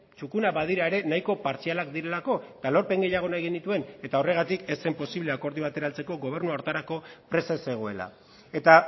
txukunak badira ere nahiko partzialak direlako eta lorpen gehiago nahi genituen eta horregatik ez zen posible akordio batera heltzeko gobernua horretarako prest ez zegoela eta